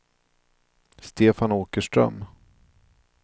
Stefan Åkerström